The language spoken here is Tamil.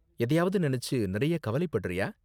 எதையாவது நினைச்சு நிறைய கவலைப்படறியா?